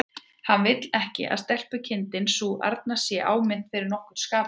Hann vill ekki að stelpukindin sú arna sé áminnt fyrir nokkurn skapaðan hlut.